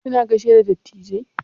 Kina gaishe da dattijai?